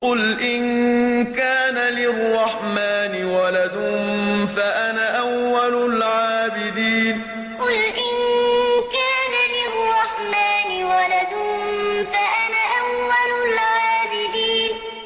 قُلْ إِن كَانَ لِلرَّحْمَٰنِ وَلَدٌ فَأَنَا أَوَّلُ الْعَابِدِينَ قُلْ إِن كَانَ لِلرَّحْمَٰنِ وَلَدٌ فَأَنَا أَوَّلُ الْعَابِدِينَ